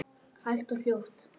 Hægt og hljótt?